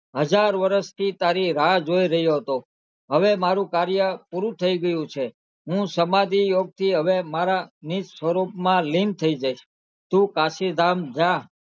હજાર વરશ થી તારી રાહ જોઈ રહ્યો હતો હવે મારુ કાર્ય પુરુ થઈ ગયું છે હું સમાધિ યોગ થી હવે મારા નીર્જ સ્વરૂપ માં લીન થઈ જઈશ તુ કાશી ધામ જા